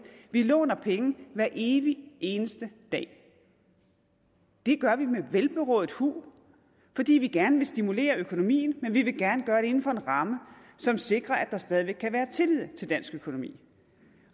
vi låner penge hver evig eneste dag det gør vi med velberåd hu fordi vi gerne vil stimulere økonomien men vi vil gerne gøre det inden for en ramme som sikrer at der stadig væk kan være tillid til dansk økonomi